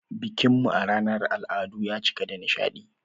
Bikin mu na ranar al'adu ya cika da nishadi.